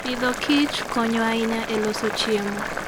Agriculture and Foodkonyo ahinya e loso chiemo.